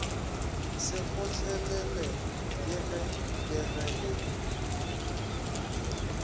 se kgotlelelege le ge e